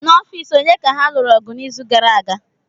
N'ọfịs onye ka ha lụrụ ọgụ n'izu gara aga?